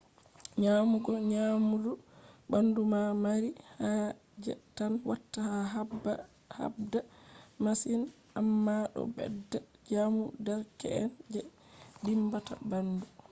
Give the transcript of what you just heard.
nyamugo nyamdu bandu ma mari haje tan watta a habda masin amma do bedda jamu derke’en je dimbata bandu